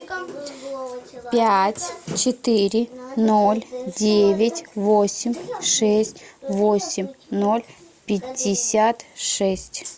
пять четыре ноль девять восемь шесть восемь ноль пятьдесят шесть